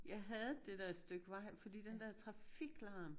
Jeg hadede det der stykke vej fordi den der trafiklarm